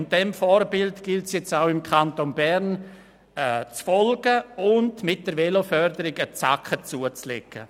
Diesem Vorbild gilt es nun auch im Kanton Bern zu folgen und hier mit der Veloförderung einen Zacken zuzulegen.